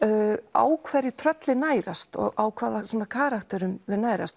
á hverju tröllin nærast og á hvaða karakterum þau nærast